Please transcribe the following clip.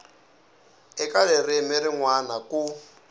eka ririmi rin wana ku